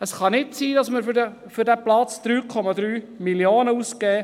Es kann nicht sein, dass wir für diesen Platz 3,3 Mio. Franken ausgeben.